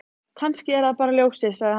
Kannski er það bara ljósið, sagði hann.